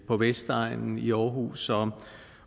på vestegnen i aarhus